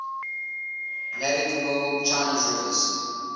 navigable chinese rivers